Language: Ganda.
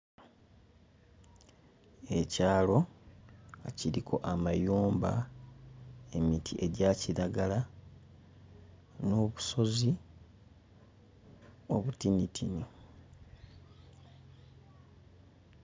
Ekyalo nga kiriko amayumba, emiti egya kiragala n'obusozi obutinitini.